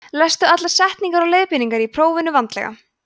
lestu allar spurningar og leiðbeiningar í prófinu vandlega